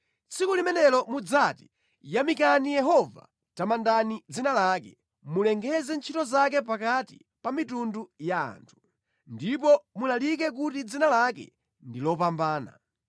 Tsiku limenelo mudzati: “Yamikani Yehova, tamandani dzina lake; mulengeze ntchito zake pakati pa mitundu ya anthu, ndipo mulalike kuti dzina lake ndi lopambana.